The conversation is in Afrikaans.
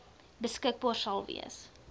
beskikbaar sal wees